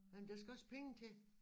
Ej men der skal også penge til